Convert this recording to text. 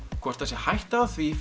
hvort það sé hætta á því